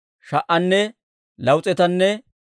Bebaaya yaratuu 628.